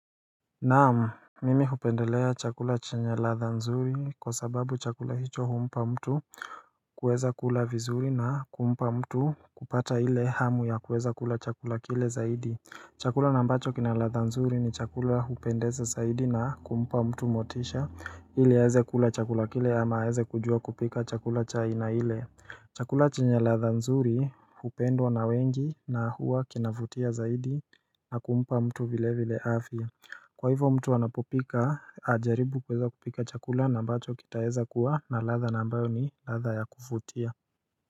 Naam, mimi hupendelea chakula chanye ladha nzuri kwa sababu chakula hicho humpa mtu kueza kula vizuri na kumpa mtu kupata ile hamu ya kueza kula chakula kile zaidi. Chakula na ambacho kina ladha nzuri ni chakula hupendeza zaidi na kumpa mtu motisha iliaweze kula chakula kile ama aeze kujua kupika chakula cha aina ile. Chakula chanye ladha nzuri hupendwa na wengi na huwa kinavutia zaidi na kumpa mtu vile vile afya Kwa hivo mtu wanapopika ajaribu kuweza kupika chakula na mbacho kitaeza kuwa na ladha na ambayo ni ladha ya kuvutia.